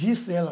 Gisela.